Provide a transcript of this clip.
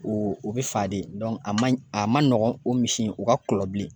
O o bɛ fa de a man ɲi a man nɔgɔn o misi in o ka kulɔ bilen